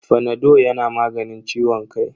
Fanado yana maganin ciwon kai.